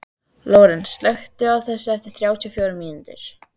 Lórens, slökktu á þessu eftir þrjátíu og fjórar mínútur.